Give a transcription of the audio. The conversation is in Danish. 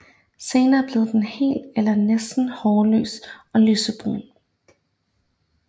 Senere bliver den helt eller næsten hårløs og lysebrun